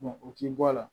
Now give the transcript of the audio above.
o k'i bɔ a la